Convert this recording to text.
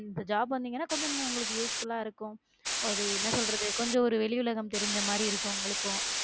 இந்த job வந்தீங்கன்னா இன்னும் கொஞ்சம் உங்களுக்கு usefull ஆ இருக்கும் அது என்ன சொல்றது கொஞ்சம் ஒரு வெளி உலகம் தெரிஞ்ச மாதிரி இருக்கும் உங்களுக்கும்